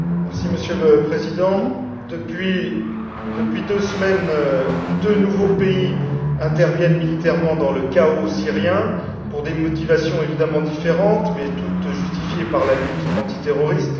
Monsieur le Président, depuis deux semaines, deux nouveaux pays interviennent militairement dans le chaos syrien pour des motivations évidemment différentes mais toutes justifiées par la lutte antiterroriste.